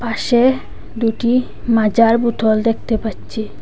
পাশে দুটি মাজার বোতল দেখতে পাচ্ছি।